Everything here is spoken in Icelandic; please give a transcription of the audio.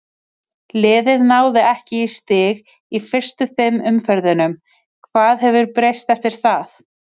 Liðið náði ekki í stig í fyrstu fimm umferðunum, hvað hefur breyst eftir það?